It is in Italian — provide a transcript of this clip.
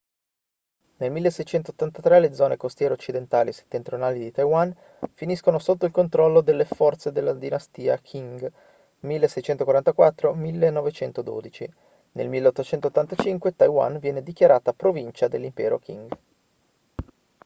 nel 1683 le zone costiere occidentali e settentrionali di taiwan finiscono sotto il controllo delle forze della dinastia qing 1644-1912; nel 1885 taiwan viene dichiarata provincia dell'impero qing